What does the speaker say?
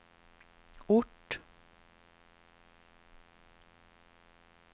ort